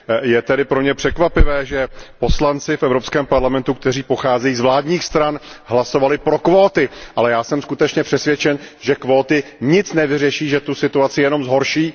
Je tedy pro mě překvapivé, že poslanci v Evropském parlamentu, kteří pocházejí z vládních stran, hlasovali pro kvóty, ale já jsem skutečně přesvědčen, že kvóty nic nevyřeší, že tu situaci jenom zhorší.